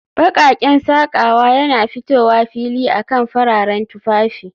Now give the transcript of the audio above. Baƙaƙen sakawa yana fitowa fili akan fararen tufafi